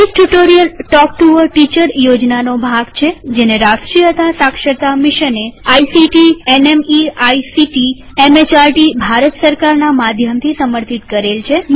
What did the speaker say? મૌખિક tutorial talk to a teacher યોજના નો ભાગ છેજેને રાષ્ટ્રીય સાક્ષરતા મિશને ictમેહર્દ ભારત સરકારના માધ્યમથી સમર્થિત કરેલ છે